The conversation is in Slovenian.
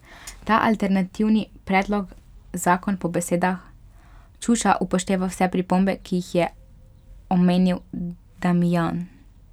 Ta alternativni predlog zakon po besedah Čuša upošteva vse pripombe, ki jih je omenil Damijan.